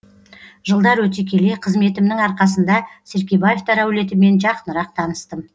жылдар өте келе қызметімнің арқасында серкебаевтар әулетімен жақынырақ таныстым